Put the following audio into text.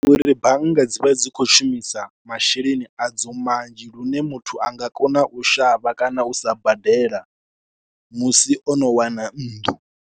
Uri bannga dzi vha dzi khou shumisa masheleni adzo manzhi lune muthu a nga kona u shavha kana u sa badela musi o no wana nnḓu.